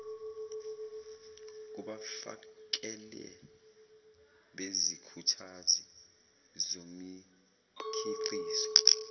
kubafakeli bezikhuthazi zomikhiqizo